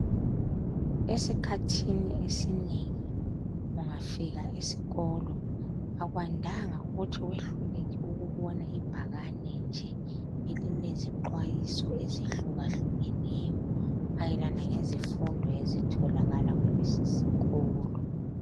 Esikhathini esinengi ungafika esikolo akwandanga ukuthi wehluleke ukubona ibhakane nje elilezixwayiso ezihluka hlukeneyo mayelana ngezifundo ezitholakala kulesi sikolo.